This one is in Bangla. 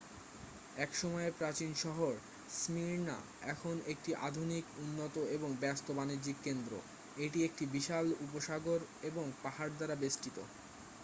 একসময়ের প্রাচীন শহর স্মির্ণা এখন একটি আধুনিক উন্নত এবং ব্যস্ত বাণিজ্যিক কেন্দ্র এটি একটি বিশাল উপসাগর এবং পাহাড় দ্বারা বেষ্টিত